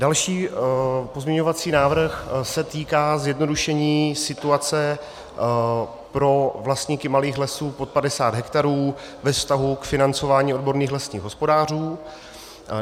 Další pozměňovací návrh se týká zjednodušení situace pro vlastníky malých lesů pod 50 hektarů ve vztahu k financování odborných lesních hospodářů.